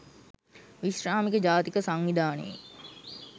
විශ්‍රාමික ජාතික සංවිධානයේ